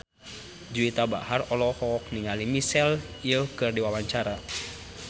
Juwita Bahar olohok ningali Michelle Yeoh keur diwawancara